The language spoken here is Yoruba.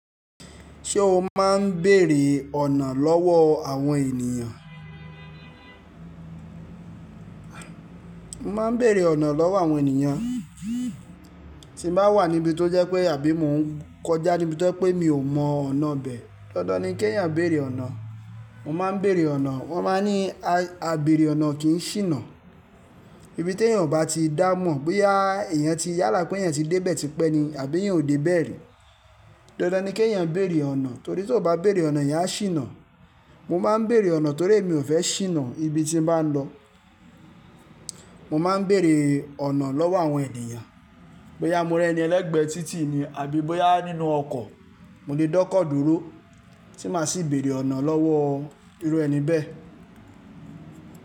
Ṣé o máa ń bèèrè ọ̀nà lọ́wọ́ àwọn ènìyàn? Mo máa ń bèèrè ọ̀nà lọ́wọ́ àwọn ènìyàn. Tí m bá wà níbi tó jẹ́ pé àbí mò ń kọjá níbi tó je pé mi ò mọ ọ̀nà bẹ́ẹ̀. Dandan ni kí èèyàn béèrè ọ̀nà. Mo máa ń bèèrè ọ̀nà. Wọ́n máa ń ní, "a béèrè ọ̀nà kì í ṣìnà." Ibi tí èèyàn ò bá ti dá mọ̀ bóyá èèyàn ti yálà pé èèyàn ti dé bẹ́ẹ̀ tí pẹ́ ni àbí eyan o dé bẹ́ẹ̀ rí. Dandan ni kí èèyàn béèrè ọ̀nà torí tí ò bá béèrè ọ̀nà ìyá a ṣìnà. Mo máa ń bèèrè ọ̀nà torí mi ò fẹ́ ṣìnà ibi tí mo bá ń lọ. Mo máa ń bèèrè ọ̀nà lọ́wọ́ àwọn ènìyàn. Bóyá mo rí ẹni ẹlẹ́gbẹ̀ẹ́ títì ni àbí bóyá nínú ọkọ̀, mo lè dọ́kọ̀ dúró tí màá sì béèrè ọ̀nà lọ́wọ́ irú ẹni bẹ́ẹ̀